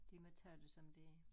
De må tage det som det